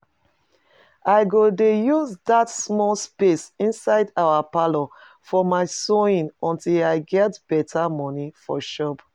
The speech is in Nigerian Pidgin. I go dey use dat small space inside our parlour for my sewing until I get better money for shop